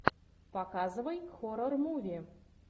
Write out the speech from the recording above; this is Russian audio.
показывай хоррор муви